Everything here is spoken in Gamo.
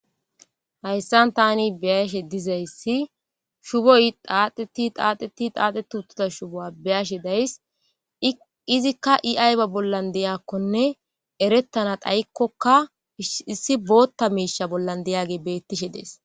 hayssan tani beyashe dizayssi shuboy daaxeti xaaxeti xaaxetutuda shubo7a beyashe days izikka iayba bollan deyakkonne erettana dhayikkokka issi bootta miisha bollan deyage beettishe dees